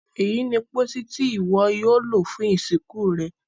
èyí ní pósí Ti iwọ yóò lo fún ìsìnkú rẹ.